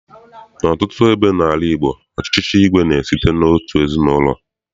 N'ọtụtụ ebe n'ala Igbo, ọchịchị igwe na-esite n'otu ezinaụlọ.